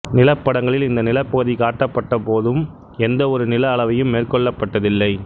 நிலப்படங்களில் இந்த நிலப்பகுதி காட்டப்பட்டபோதும் எந்தவொரு நில அளவையும் மேற்கொள்ளப்பட்டதில்லை